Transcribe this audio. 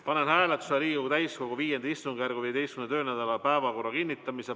Panen hääletusele Riigikogu täiskogu V istungjärgu 15. töönädala päevakorra kinnitamise.